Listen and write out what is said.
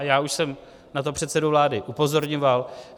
A já už jsem na to předsedu vlády upozorňoval.